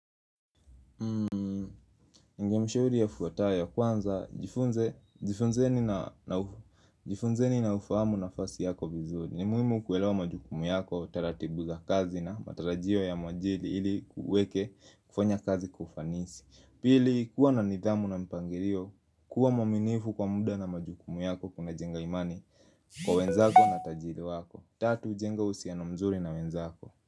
Ningemshauri ya fuatayo kwanza jifunze jifunzeni na ufuhamu na fasi yako vizuri ni muhimu kuwelewa majukumu yako, taratibu za kazi na matarajio ya mwajiri ili kufanya kazi kufanisi Pili kuwa na nidhamu na mpangirio, kuwa mwaminifu kwa muda na majukumu yako kuna jenga imani kwa wenzako na tajiri wako Tatu, jenga ushusiano mzuri na wenzako.